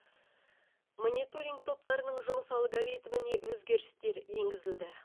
мониторинг топтарының жұмыс алгоритміне өзгерістер енгізілді